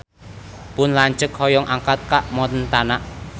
Pun lanceuk hoyong angkat ka Montana